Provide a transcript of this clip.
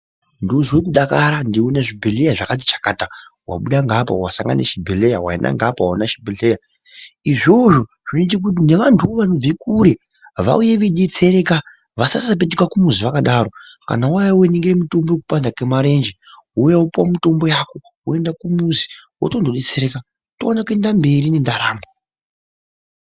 Ndozwe kudakara ndeione zvibhedhleya zvakati chakata wabuda ngaapa wasangane chibhedhleya waenda ngeapa waone chibhedhleya izvozvi zvinoite kuti nevantuwo vanobve kure vauye veidetsereka vasasapetuke kumuzi zvakadaro kana wauya weiningire mutombo panda kemarenje wouay wopuwa mutombo yako wotondodetsereka toone kuenda mberi nendaramo.